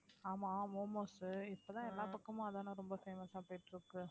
ஆமா momos இப்பதான் எல்லா பக்கமும் அதான ரொம்ப famous ஆ போயிட்டு இருக்கு